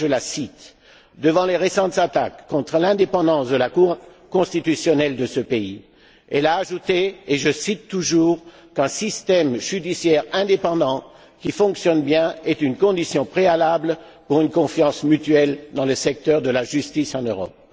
Je la cite Devant les récentes attaques contre l'indépendance de la Cour constitutionnelle de ce pays, un système judiciaire indépendant qui fonctionne bien est une condition préalable pour une confiance mutuelle dans le secteur de la justice en Europe.